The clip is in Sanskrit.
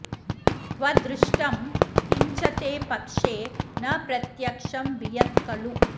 क्व दृष्टं किंच ते पक्षे न प्रत्यक्षं वियत्खलु